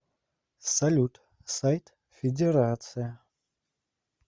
салют сайт федерация